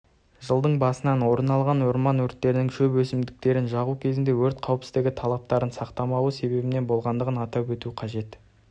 жылдың басынан орын алған орман өрттерінің шөп өсімдіктерін жағу кезінде өрт қауіпсіздігі талаптарын сақтамауы себебінен болғандығын атап өту қажет